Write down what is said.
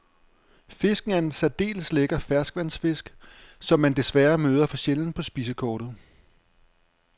Fisken er en særdeles lækker ferskvandsfisk, som man desværre møder for sjældent på spisekortet.